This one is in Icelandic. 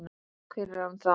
Hver er hann þá?